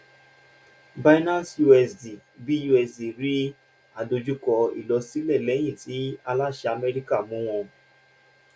binance usd busd rí àdojúkọ ìlọsílẹ lẹyìn tí aláṣẹ amẹríkà mú wọn